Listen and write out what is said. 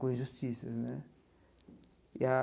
Com injustiças, né?